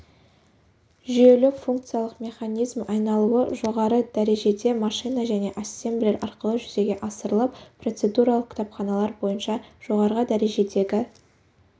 жүйелік функциялық механизм айналуы жоғарғы дәрежеде машина және ассемблер арқылы жүзеге асырылып процедуралық кітапханалар бойынша жоғарғы дәрежедегі